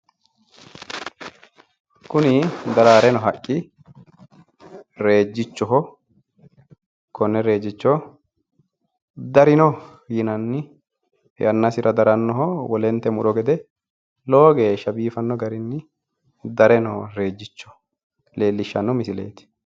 Kuni daraare noo haqqi rejichoho yinanni wole haqqe gede daraaranoho, xa daraarara darre nootta leelishano misileti